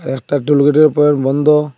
একটা টোল গেটের পয়েন্ট বন্দ ।